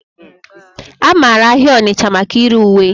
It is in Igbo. A mara ahịa Onitcha maka ire uwe.